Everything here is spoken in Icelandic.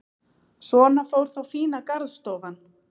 Svona fór þá fína garðstofan.